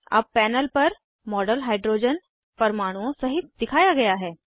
अब पैनल पर model hydrogen परमाणुओं सहित दिखाया गया है